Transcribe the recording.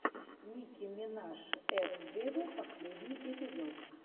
ники минаж эт вево последний эпизод